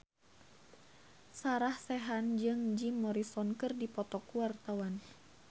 Sarah Sechan jeung Jim Morrison keur dipoto ku wartawan